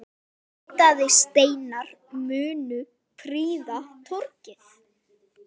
Litaðir steinar munu prýða torgið.